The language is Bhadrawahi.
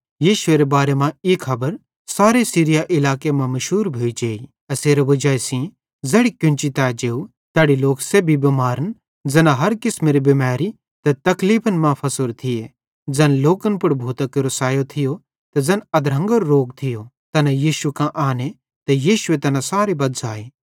यीशुएरे बारे मां ई खबर सारे सीरिया इलाके मां मुशूर भोइ जेई एसेरे वजाई सेइं ज़ैड़ी कोन्ची तै जेव तैड़ी लोक सेब्भी बिमारन ज़ैना हर किसमेरी बिमैरी ते तकलीफन मां फसोरे थिये ते ज़ैन लोकन पुड़ भूतां केरो सायो थियो ते ज़ैना मिरगरे रोगी थिये ते ज़ैना अधरंगेरे रोगी थिये तैना यीशु कां आने ते यीशुए तैना सारे बज़्झ़ाए